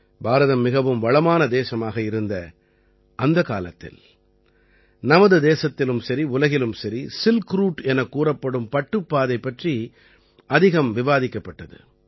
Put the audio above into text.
பாரதம் மிகவும் வளமான தேசமாக இருந்த அந்தக் காலத்தில் நமது தேசத்திலும் சரி உலகிலும் சரி சில்க் ரூட் எனக் கூறப்படும் பட்டுப் பாதை பற்றி அதிகம் விவாதிக்கப்பட்டது